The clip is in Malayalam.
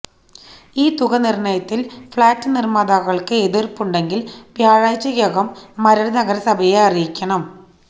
ഈ തുക നിർണയത്തിൽ ഫ്ളാറ്റ് നിർമ്മാതാക്കൾക്ക് എതിർപ്പുണ്ടെങ്കിൽ വ്യാഴാഴ്ചക്കകം മരട് നഗരസഭയെ അറിയിക്കണം